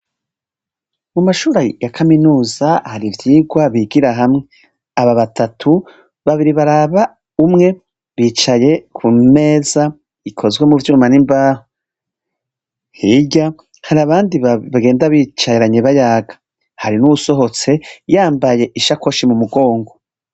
Icumba c' ishure rya Kaminuza, kirimw' abanyeshure bicaye mu ntebe nziza zigezweho, imbere yabo har' impapuro zera bibonekako bariko bariga biteguriye gukora ikibazo, inyuma har' idirisha n' urugi vy' injiz' umuco, kuruhome hasiz' irangi ryera, hejuru har' ivyuma bimanitse bitandukanye.